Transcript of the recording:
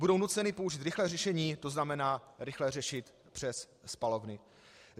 Budou nuceny použít rychlé řešení, to znamená rychle řešit přes spalovny.